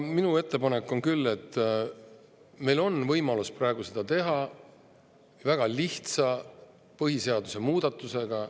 Minu ettepanek on küll, et meil on võimalus seda väga lihtsa põhiseaduse muudatusega.